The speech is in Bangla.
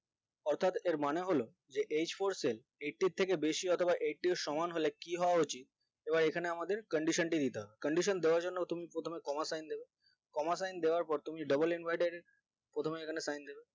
অর্থাৎ এর মানে হলো যে h four cell eighty ইর থেকে বেশি অথবা eighty সমান হলো কি হওয়া উচিত এবার এখানে আমাদের candition টি দিতে হবে candition দেওয়ার জন্য তুমি প্রথমে coma sign দেবে coma sign দেওয়ার পর তুমি double inverted প্রথমে এইগুলা sign দেবে